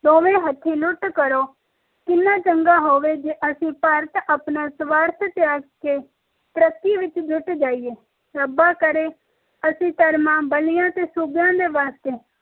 ਦੋਵੇ ਹਥਿ ਲੁੱਟ ਕਰੋ ਕਿੰਨਾ ਚੰਗਾ ਹੋਵੇ ਜੇ ਭਾਰਤ ਅਸੀਂ ਆਪਣਾ ਸਵਾਰਥ ਛੱਡ ਕੇ ਤਰੱਕੀ ਤੇ ਜੁਟ ਜਾਈਏ ਰੱਬਾ ਕਰੇ ਅਸੀਂ ਕਰਮ ਬੱਲੀਆਂ ਤੇ ਸੂਬਿਆਂ ਦੇ ਵਾਸਤੇ